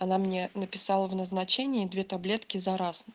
она мне написала в назначении два таблетки за раз